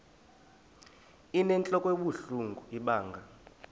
inentlok ebuhlungu ibanga